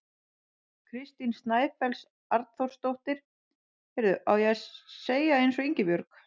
Kristín Snæfells Arnþórsdóttir: Heyrðu, á ég að segja eins og Ingibjörg?